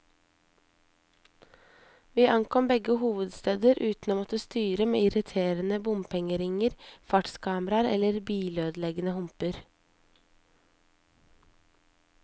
Vi ankom begge hovedsteder uten å måtte styre med irriterende bompengeringer, fartskameraer eller bilødeleggende humper.